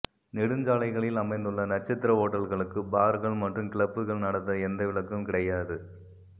நெடுஞ்சாலைகளில் அமைந்துள்ள நட்சத்திர ஓட்டல்களுக்கும் பார்கள் மற்றும் கிளப்புகள் நடத்த எந்த விலக்கும் கிடையாது